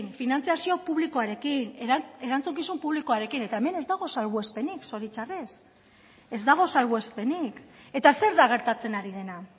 finantzazio publikoarekin erantzukizun publikoarekin eta hemen ez dago salbuespenik zoritxarrez ez dago salbuespenik eta zer da gertatzen ari dena